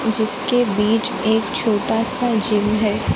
जिसके बीच एक छोटा सा जीव है।